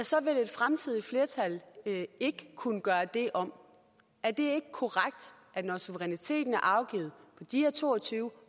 så vil et fremtidigt flertal ikke kunne gøre det om er det korrekt at når suveræniteten er afgivet på de her to og tyve